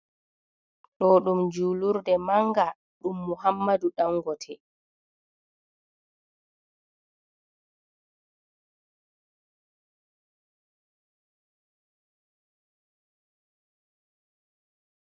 Ɗo ɗum julurde mannga, ɗum Muhammadu Ɗangote.